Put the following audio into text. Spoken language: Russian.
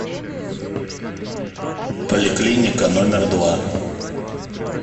поликлиника номер два